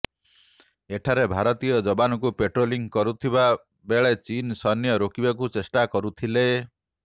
ଏଠାରେ ଭାରତୀୟ ଯବାନଙ୍କୁ ପେଟ୍ରୋଲିଂ କରୁଥିବା ବେଳେ ଚୀନ ସୈନ୍ୟ ରୋକିବାକୁ ଚେଷ୍ଟା କରୁଥିଲେ